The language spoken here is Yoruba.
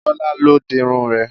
Bọ́lá ló dirun rẹ̀